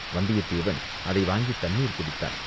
வந்தியத்தேவன் அதை வாங்கித் தண்ணீர் குடித்தான்.